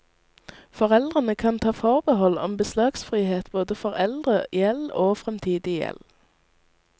Foreldrene kan ta forbehold om beslagsfrihet både for eldre gjeld og fremtidig gjeld.